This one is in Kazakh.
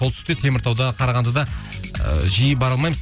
солтүстікте теміртауда қарағандыда ыыы жиі бара алмаймыз